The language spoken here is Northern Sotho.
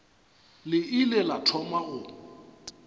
le ile la thoma go